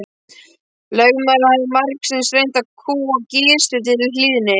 Lögmaðurinn hafði margsinnis reynt að kúga Gizur til hlýðni.